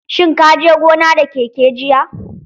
Shin ka je gona da keke jiya?